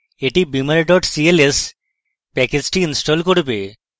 এটি beamer cls প্যাকেজটি install করবে